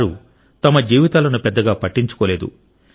వారు తమ జీవితాలను పెద్దగా పట్టించుకోలేదు